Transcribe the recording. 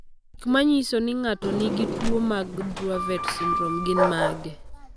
Gik manyiso ni ng'ato nigi tuwo mar Dravet syndrome gin mage?